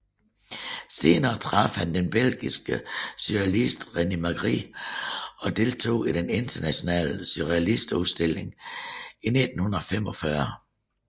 Senere traf han den belgiske surrealist René Magritte og deltog i den internationale surrealist udstilling i 1945